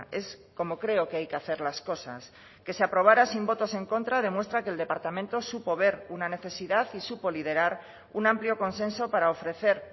es como creo que hay que hacer las cosas que se aprobara sin votos en contra demuestra que el departamento supo ver una necesidad y supo liderar un amplio consenso para ofrecer